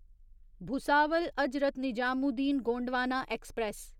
Bhusawal Hazrat Nizamuddin Gondwana express